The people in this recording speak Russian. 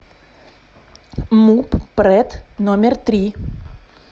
муп прэт номер три